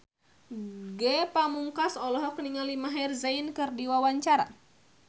Ge Pamungkas olohok ningali Maher Zein keur diwawancara